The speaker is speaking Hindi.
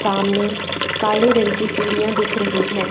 सामने काले रंग की सीढ़ियां दिख रही हैं।